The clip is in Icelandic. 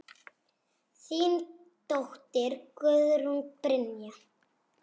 Þín dóttir, Guðrún Brynja.